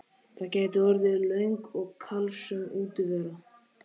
Það gæti orðið löng og kalsöm útivera.